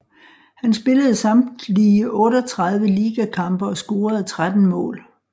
Han spillede samtlige 38 ligakampe og scorede 13 mål